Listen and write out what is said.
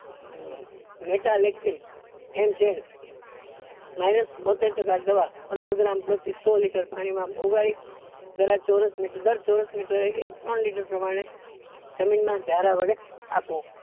Minus બોત્તેર ટકા દવા પંદર gram સો gram પાણી માં ઓગાળી દવા ચોરસ મિત્ર દર ચોરસ મીટર એ એક ત્રણ લીટર પ્રમાણે જમીન માં જારા વડે આપો